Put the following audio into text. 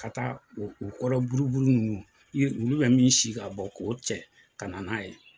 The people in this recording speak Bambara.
Ka taa o kɔrɔ buruburu ninnu olu bɛ min sin ka bɔn k'o cɛ ka na n'a ye.